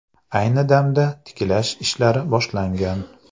Ayni damda tiklash ishlari boshlangan.